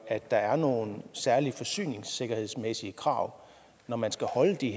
at der er nogle særlige forsyningssikkerhedsmæssige krav når man skal afholde de